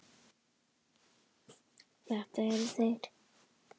Þetta eru þeir.